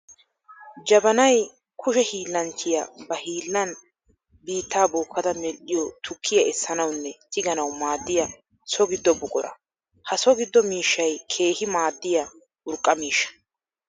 Jabanay kushe hiillanchchiya ba hiillan biitta bookada medhdhiyo tukkiya essanawunne tigganawu maadiya so gido buqura. Ha so gido miishshay keehi maadiya urqqa miishsha.